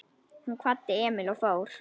Hún kvaddi Emil og fór.